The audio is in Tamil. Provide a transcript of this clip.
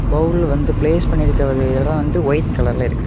பவுல் வந்து பிளேஸ் பண்ணிருக்குற இடம் வந்து வைட் கலர்ல இருக்கு.